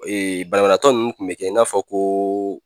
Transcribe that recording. banabaatɔ ninnu kun bɛ kɛ i n'a fɔ ko